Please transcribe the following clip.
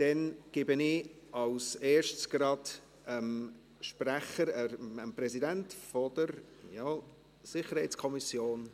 Dann gebe ich als Erstes gerade dem Sprecher, dem Präsidenten der SiK, das Wort.